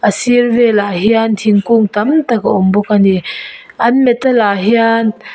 a sir velah hian thinkung tamtak a awm bawk a ni a an metal ah hian.